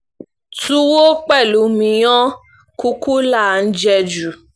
túwo pẹ̀lú míyàn kùkà là ń jẹ́ jù